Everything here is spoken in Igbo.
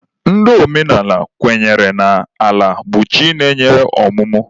Ndị omenala kwenyere na Ala bụ chi na-enye ọmụmụ.